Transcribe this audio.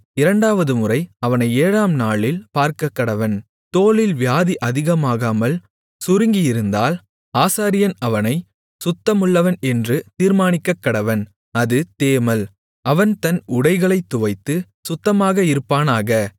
இரண்டாவதுமுறை அவனை ஏழாம் நாளில் பார்க்கக்கடவன் தோலில் வியாதி அதிகமாகாமல் சுருங்கியிருந்தால் ஆசாரியன் அவனைச் சுத்தமுள்ளவன் என்று தீர்மானிக்கக்கடவன் அது தேமல் அவன் தன் உடைகளைத் துவைத்துச் சுத்தமாக இருப்பானாக